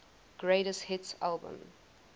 greatest hits album